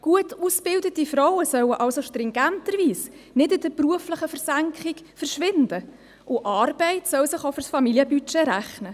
Gut ausgebildete Frauen sollen somit stringenterweise nicht in der beruflichen Versenkung verschwinden, und Arbeit soll sich auch für das Familienbudget rechnen.